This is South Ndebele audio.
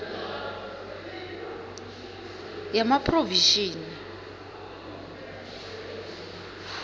yamaphrovinsi